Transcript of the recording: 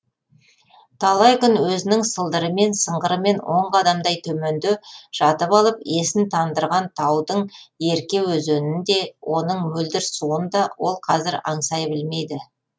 талай күн өзінің сылдырымен сыңғырымен он қадамдай төменде жатып алып есін тандырған таудың ерке өзенін де оның мөлдір суын да ол қазір аңсай білмейді